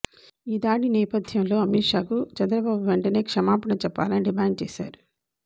ఈ దాడి నేపథ్యంలో అమిత్ షాకు చంద్రబాబు వెంటనే క్షమాపణ చెప్పాలని డిమాండ్ చేశారు